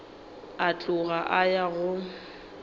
a tloga a ya go